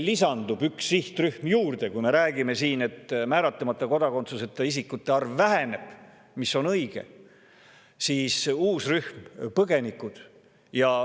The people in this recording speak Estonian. Lisandub ju üks sihtrühm, sest kui me räägime siin, et määratlemata kodakondsusega isikute arv väheneb, siis see on õige, aga tekib uus rühm, põgenikud.